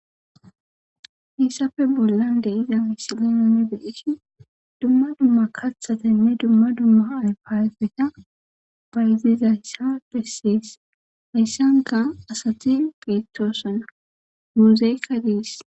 Issappe bolla de'iza misilinni be'ishe dumma dumm kathatanne dumma dumma ayfeta bayizaysa beses. Hayssanka asati beetosona muuzeka de'es.